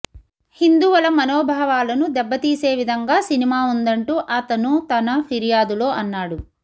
హిందువుల మనోభావాలను దెబ్బ తీసే విధంగా సినిమా ఉందంటూ ఆతను తన ఫిర్యాదులో అన్నాడు